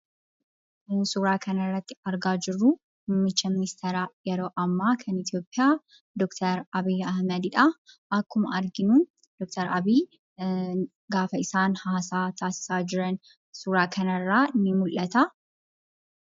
Namni suuraa kanarratti argaa jirru muummicha miniisteera yeroo ammaa kan Itiyoophiyaa Dr. Abiy Ahmed dha. akkuma arginu, Dr.Abiy gaafa isaan hasa'aa taasisaa jiran suuraa kanarra ni mul'ata.